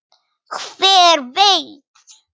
Hver veit